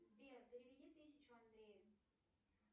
сбер переведи тысячу андрею